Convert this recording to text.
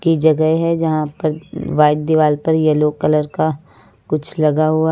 ये जगह है जहां पर व्हाइट दीवार पर येलो कलर का कुछ लगा हुआ--